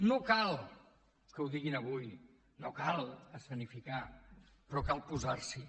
no cal que ho diguin avui no cal escenificar però cal posar s’hi